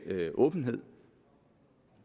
åbenhed